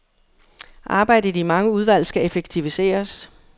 Arbejdet i mange udvalg skal effektiviseres.